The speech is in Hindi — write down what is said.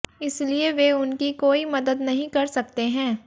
इसलिए वे उनकी कोई मदद नहीं कर सकते हैं